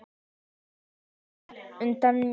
Hún sér þær útundan sér.